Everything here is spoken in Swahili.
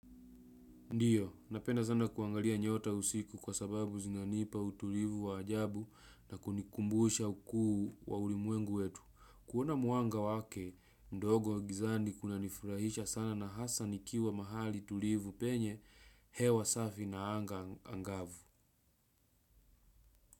Ndiyo, napenda sana kuangalia nyota usiku kwa sababu zinanipa utulivu wa ajabu na kunikumbusha ukuu wa ulimwengu wetu. Kuona mwanga wake ndogo gizani kunanifuraisha sana na hasa nikiwa mahali tulivu penye hewa safi na anga anagvu.